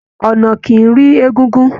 Ọna kìí rí egúngún